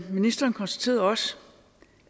ministeren konstaterede også